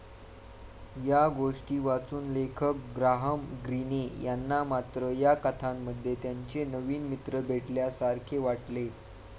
या गोष्टी वाचून लेखक ग्राहम ग्रीने यांना मात्र या कथांमध्ये त्यांचे नवीन मित्र भेटल्यासारखे वाटले.